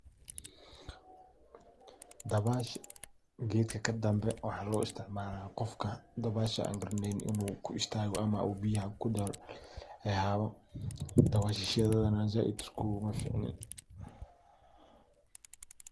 Dabaasha geedka kaa dambee waxaa loo isticmaala qofkaa dabaasha aan garaaneynin inuu uu kuu istaago ama uu biyaaha kuu duul hehaabo. dabashashaada anii saaid iskugumaa ficniin.